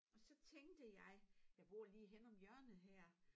Og så tænkte jeg jeg bor lige henne om hjørnet her